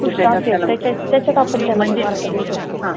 त्याच्या त्याच्यात आपण त्याला mark देऊ शकतो. हं दुसर असं